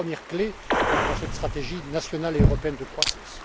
C'est la première clé dans cette stratégie nationale et européenne de croissance.